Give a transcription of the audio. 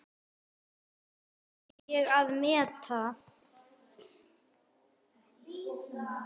Það kann ég að meta.